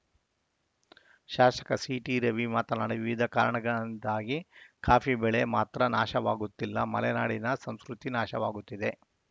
ಶಾಸಕ ಸಿಟಿ ರವಿ ಮಾತನಾಡಿ ವಿವಿಧ ಕಾರಣಗಳಿಂದಾಗಿ ಕಾಫಿ ಬೆಳೆ ಮಾತ್ರ ನಾಶವಾಗುತ್ತಿಲ್ಲ ಮಲೆನಾಡಿನ ಸಂಸ್ಕೃತಿ ನಾಶವಾಗುತ್ತಿದೆ